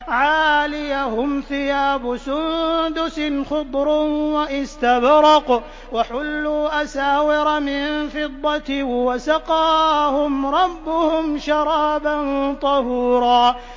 عَالِيَهُمْ ثِيَابُ سُندُسٍ خُضْرٌ وَإِسْتَبْرَقٌ ۖ وَحُلُّوا أَسَاوِرَ مِن فِضَّةٍ وَسَقَاهُمْ رَبُّهُمْ شَرَابًا طَهُورًا